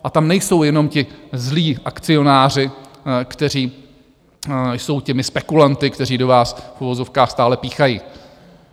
A tam nejsou jenom ti zlí akcionáři, kteří jsou těmi spekulanty, kteří do vás v uvozovkách stále píchají.